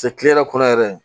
kile yɛrɛ kɔnɔ yɛrɛ